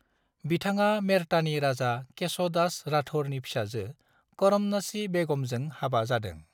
बिथाङा मेड़तानि राजा केश' दास राठौरनि फिसाजो करमनासी बेगमजों हाबा जादों।